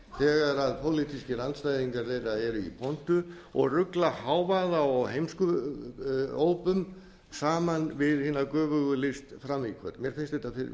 þegar pólitískir andstæðingar þeirra eru í pontu og rugla hávaða og heimskuópum saman við hina göfugu list frammíköll mér finnst